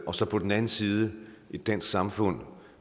og så på den anden side et dansk samfund